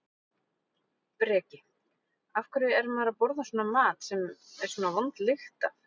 Breki: Af hverju er maður að borða svona mat sem er svona vond lykt af?